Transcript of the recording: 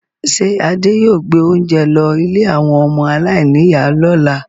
Ṣé Adé yóò gbé oúnjẹ lọ ilé àwọn ọmọ aláìníìyá lọ́la?